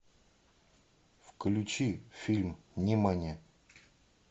включи фильм нимани